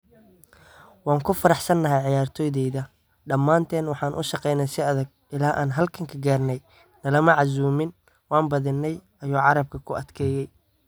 “Waan ku faraxsanahay ciyaartoydeyda, dhamaanteen waxaan u shaqeynay si adag ilaa aan halkaan ka gaarnay, nalama casuumin, waan badinay,” ayuu carabka ku adkeeyay.